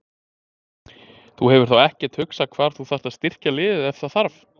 Þú hefur þá ekkert hugsað hvar þú þarft að styrkja liðið ef það þarf?